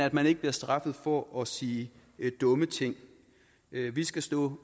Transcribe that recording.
at man ikke bliver straffet for at sige dumme ting vi vi skal stå